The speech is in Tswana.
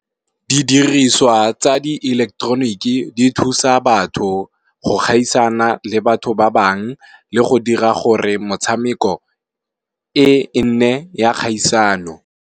Di diriswa tsa di-ileketeroniki di thusa batho go gaisana le batho ba bangwe le go dira gore motshameko e nne ya kgaisano.